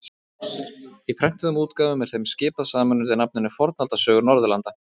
Í prentuðum útgáfum er þeim skipað saman undir nafninu Fornaldarsögur Norðurlanda.